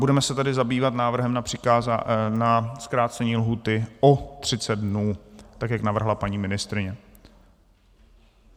Budeme se tedy zabývat návrhem na zkrácení lhůty o 30 dnů, tak jak navrhla paní ministryně.